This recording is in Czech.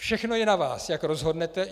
Všechno je na vás, jak rozhodnete.